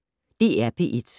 DR P1